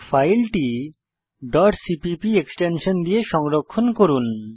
ফাইলটি cpp extension দিয়ে সংরক্ষণ করুন